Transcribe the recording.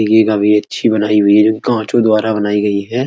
ये काफी अच्छी बनाई हुई है जोकि काचों द्वारा बनाई गयी है।